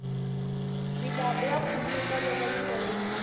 milambu ya khuluka loko yi tele